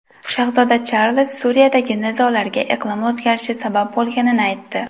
Shahzoda Charlz Suriyadagi nizolarga iqlim o‘zgarishi sabab bo‘lganini aytdi.